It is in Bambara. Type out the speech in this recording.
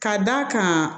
Ka d'a kan